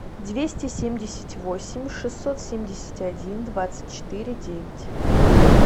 двести семьдесят восемь шестьсот семьдесят один двадцать четыре девять